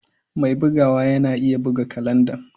Mai bugawa na iya buga kalanda.